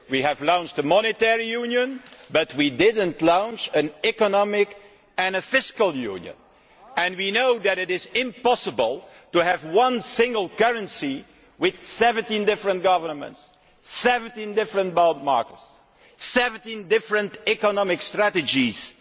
We launched a monetary union, but we did not launch an economic and fiscal union, and we know that it is impossible to have one single currency with 17 different governments, 17 different bond markets, 17 different economic strategies.